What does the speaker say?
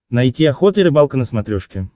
найти охота и рыбалка на смотрешке